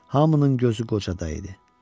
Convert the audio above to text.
Hamının gözü qocada idi.